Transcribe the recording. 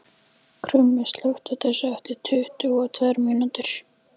Krummi, slökktu á þessu eftir tuttugu og tvær mínútur.